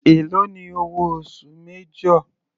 Èló ni owó oṣù major.